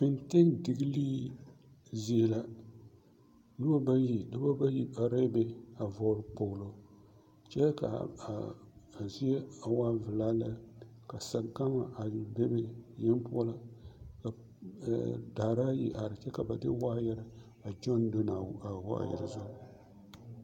Lɔɛ la biŋ lɔ peɛle ane lɔ zeere ka aloopɛlee are a ba puoriŋ a araa lɔɛ puoriŋ kyɛ kyɛre ka teere meŋ are kaa sazu waa nyɛ saa naŋ koro kyɛ kaa teere na meŋ naŋ are sɔɔsɔɔ a zaa kpɛlɛŋ nyɛ a zie naŋ e teŋsugɔ nyɛ.